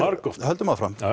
margoft höldum áfram